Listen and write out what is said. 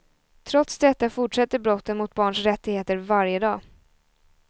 Trots detta fortsätter brotten mot barns rättigheter varje dag.